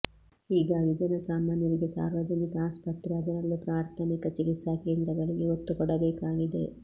ಹೀಗಾಗಿ ಜನಸಾಮಾನ್ಯರಿಗೆ ಸಾರ್ವಜನಿಕ ಅಸ್ಪತ್ರೆ ಅದರಲ್ಲೂ ಪ್ರಾರ್ಥಮಿಕ ಚಿಕಿತ್ಸಾ ಕೇಂದ್ರಗಳಿಗೆ ಒತ್ತುಕೊಡಬೇಕಾಗಿದೆ